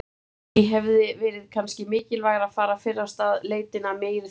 Lillý: Hefði verið kannski mikilvægara að fara fyrr af stað leitina af meiri þunga?